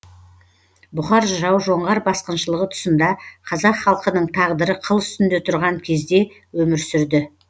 бұқар жырау жоңғар басқыншылығы тұсында қазақ халқының тағдыры қыл үстінде тұрған кезде өмір сүрді